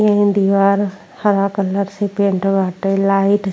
ये इन दीवार हरा कलर से पेंट बाटे। लाइट --